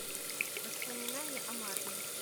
воспоминания о марне